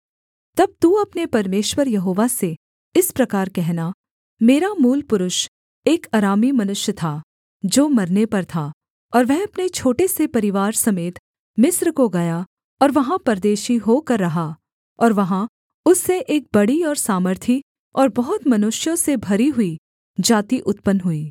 तब तू अपने परमेश्वर यहोवा से इस प्रकार कहना मेरा मूलपुरुष एक अरामी मनुष्य था जो मरने पर था और वह अपने छोटे से परिवार समेत मिस्र को गया और वहाँ परदेशी होकर रहा और वहाँ उससे एक बड़ी और सामर्थी और बहुत मनुष्यों से भरी हुई जाति उत्पन्न हुई